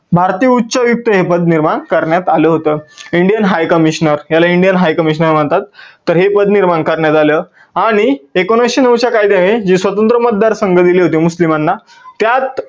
भारतीय उच्च आयुक्त हे पद निर्माण करण्यात आलं होत. Indian high commissioner याला Indian high commissioner म्हणतात. तर हे पद निर्माण करण्यात आलं आणि एकोणविसशे नऊ च्या कायद्याने जे स्वतंत्र मतदार संघ दिले होते मुस्लिमांना त्यात